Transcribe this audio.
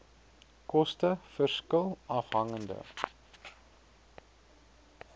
koste verskil afhangende